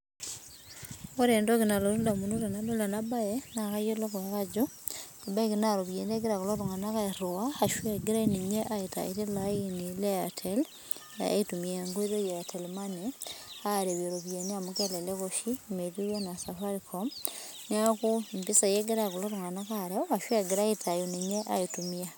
Ore entoki nalotu indamunot tenadol ena baye naa kayiolou ajo ebaiki na iropiyiani egira kulo tung'anak airhiu ashu egirai ninye aitayu tilo aeni le Airtel aitumia enkoitoi e airtel money iropiani amu kelelek oshi metiu enaa safaricom niaku impisai egira kulo tung'anak areu ashu egira aitayu ninye aitumia